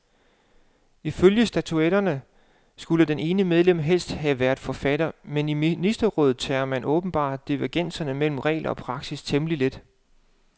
Ifølge statutterne skulle det ene medlem helst have været forfatter, men i ministerrådet tager man åbenbart divergenser mellem regler og praksis temmelig let.